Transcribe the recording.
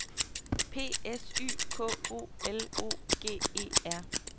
P S Y K O L O G E R